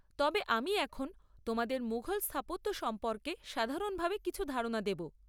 তবে আমি এখন তোমাদের মুঘল স্থাপত্য সম্পর্কে সাধারণভাবে কিছু ধারণা দেব।